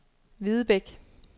Videbæk